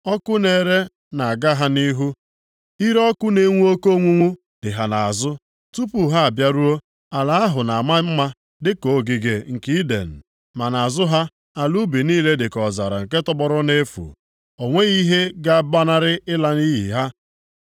Ọkụ na-ere na-aga ha nʼihu, ire ọkụ na-enwu oke onwunwu dị ha nʼazụ. Tupu ha abịaruo, ala ahụ na-ama mma dịka ogige nke Iden, ma nʼazụ ha, ala ubi niile dịka ọzara nke tọgbọrọ nʼefu, o nweghị ihe ga-agbanarị ịla nʼiyi ha.